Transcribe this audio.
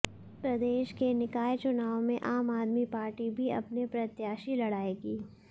प्रदेश के निकाय चुनाव में आम आदमी पार्टी भी अपने प्रत्याशी लड़ाएगी